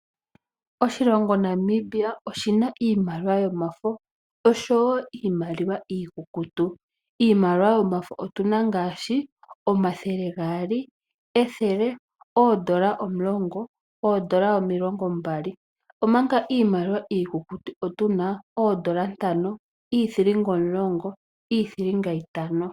Oshilongo Namibia oshina iimaliwa yomafo oshowo iimaliwa iikukutu. Iimaliwa yomafo otu na ngaashi omathele gaali, ethele, oodollar omulongo, oodollar omilongo mbali omanga iimaliwa iikukutu otu na oodollar ntano, iithilinga omulongo, iithilinga intano.